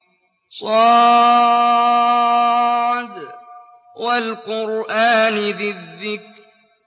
ص ۚ وَالْقُرْآنِ ذِي الذِّكْرِ